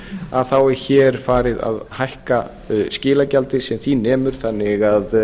að þá er hér farið að hækka skilagjaldið sem því nemur þannig að